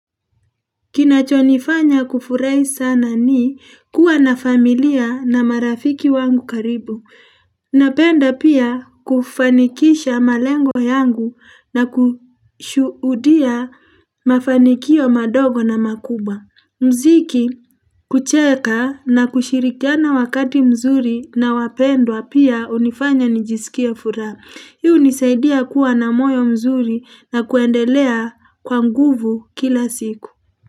Kinachonifanya kufurahi sana ni kuwa na familia na marafiki wangu karibu, napenda pia kufanikisha malengo yangu na kushuhudia mafanikio madogo na makubwa mziki, kucheka na kushirikiana wakati mzuri na wapendwa pia hunifanya nijisikie furaha, hii hunisaidia kuwa na moyo mzuri na kuendelea kwa nguvu kila siku.